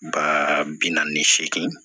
Ba bi naani ni seegin